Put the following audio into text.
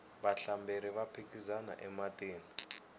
vahlamberi va phikizana ematini